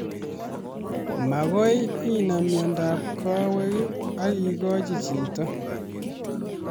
Makoi inam miondap kawek akikochi chito